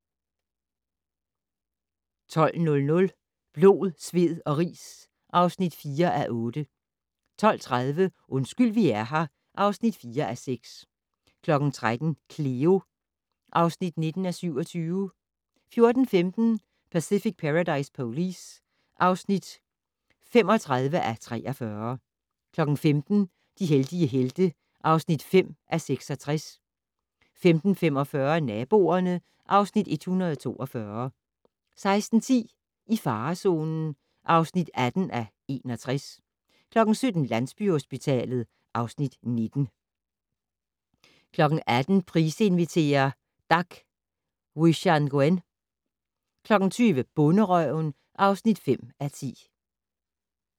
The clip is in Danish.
12:00: Blod, sved og ris (4:8) 12:30: Undskyld vi er her (4:6) 13:00: Cleo (19:27) 14:15: Pacific Paradise Police (35:43) 15:00: De heldige helte (5:66) 15:45: Naboerne (Afs. 142) 16:10: I farezonen (18:61) 17:00: Landsbyhospitalet (Afs. 19) 18:00: Price inviterer - Dak Wichangoen 20:00: Bonderøven (5:10)